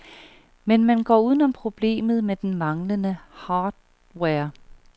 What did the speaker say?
Men man går uden om problemet med den manglende hardware.